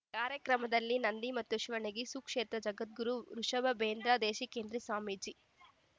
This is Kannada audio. ಕಾರ್ಯಕ್ರಮದಲ್ಲಿ ನಂದಿ ಮತ್ತು ಶಿವಣಗಿ ಸುಕ್ಷೇತ್ರದ ಜಗದ್ಗುರು ವೃಷಬೇಂದ್ರ ದೇಶಿಕೇಂದ್ರ ಸ್ವಾಮೀಜಿ